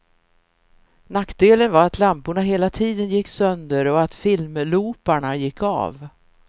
Nackdelen var att lamporna hela tiden gick sönder och att filmlooparna gick av.